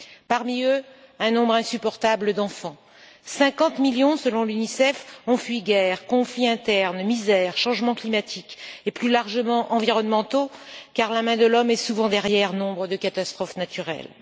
Parmi eux, un nombre insupportable d'enfants. Cinquante millions, selon l'Unicef, ont fui guerre, conflits internes, misère, changement climatique et, plus largement, environnementaux, car la main de l'homme est souvent derrière nombres de catastrophes naturelles.